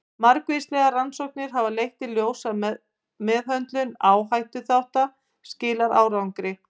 Margvíslegar rannsóknir hafa leitt í ljós að meðhöndlun áhættuþátta skilar árangri.